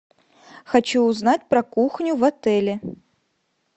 хочу узнать про кухню в отеле